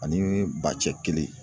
Ani bacɛ kelen